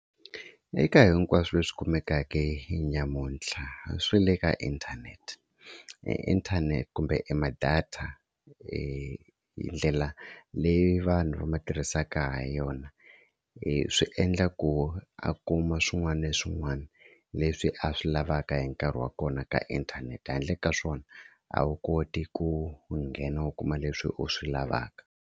Eka hinkwaswo leswi kumekaka nyamuntlha swi le ka e inthanete inthanete kumbe ma-data e ndlela leyi vanhu va ma tirhisaka ha yona yona i swi endla ku a kuma swin'wana na swin'wana leswi a swi lavaka hi nkarhi wa kona ka inthanete handle ka swona a wu koti ku nghena u kuma leswi u swi lavaka.